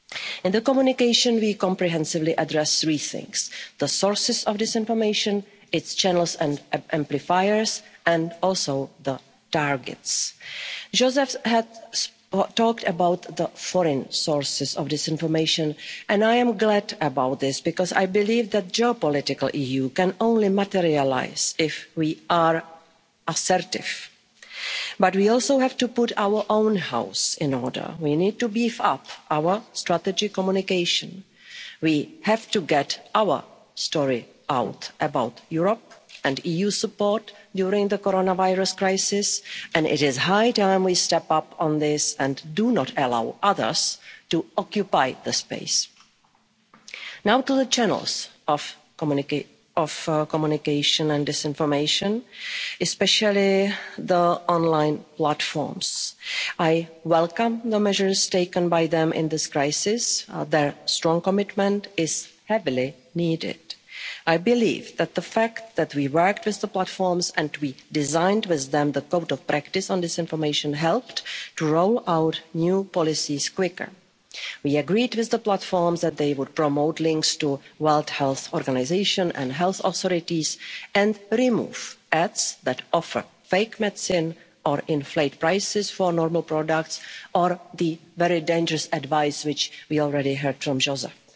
In the communication we comprehensively address three things the sources of disinformation, its channels and amplifiers, and also the targets. Josep talked about the foreign sources of disinformation and I am glad about this because I believe that a geopolitical EU can only materialise if we are assertive, but we also have to put our own house in order. We need to beef up our strategy on communication. We have to get our story out about Europe and EU support during the coronavirus crisis, and it is high time we step up on this and do not allow others to occupy that space. Now to the channels of communication and disinformation especially the online platforms. I welcome the measures taken by them in this crisis their strong commitment is heavily needed. I believe that the fact that we worked with the platforms, and we designed with them the code of practice on disinformation, helped to roll out new policies more quickly. We agreed with the platforms that they would promote links to the World Health Organization and health authorities and remove ads that offered fake medicines or inflate prices for normal products or give very dangerous advice, which we already heard from